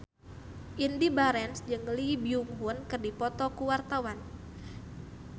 Indy Barens jeung Lee Byung Hun keur dipoto ku wartawan